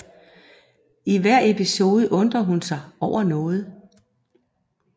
I hver episode undre hun sig over noget